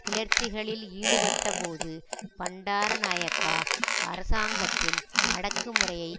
கிளர்ச்சிகளில் ஈடுபட்டபோது பண்டாரநாயக்கா அரசாங்கத்தின் அடக்குமுறையை